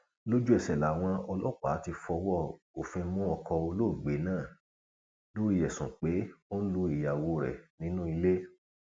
lójúẹsẹ làwọn ọlọpàá ti fọwọ òfin mú ọkọ olóògbé náà lórí ẹsùn pé ó ń lu ìyàwó rẹ nínú ilé